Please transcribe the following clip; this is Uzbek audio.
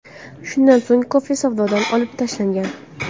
Shundan so‘ng kofe savdodan olib tashlangan.